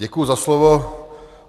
Děkuji za slovo.